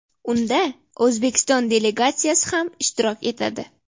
Unda O‘zbekiston delegatsiyasi ham ishtirok etadi.